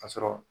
Ka sɔrɔ